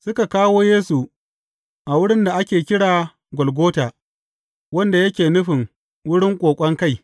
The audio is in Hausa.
Suka kawo Yesu a wurin da ake kira Golgota wanda yake nufin Wurin Ƙoƙon Kai.